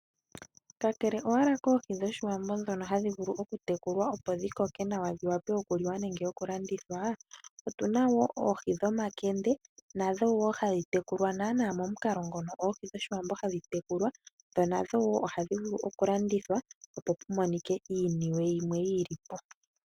Kakele owala koohi dhOshiwambo ndhono hadhi vulu okutekulwa opo dhi wape okuliwa nenge okulandithwa, otu na wo oohi dhomakende, nadho wo hadhi tekulwa momukalo mono oohi dhOshiwambo hadhi tekulwa dho nadho ohadhi vulu okulandithwa, opo ku monike iiniwe yimwe yi li po.